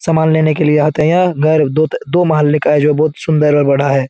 सामान लेने के लिए आते हैं। यह अ घर दो-दो माले का है। जो बहुत सुंदर और बड़ा है।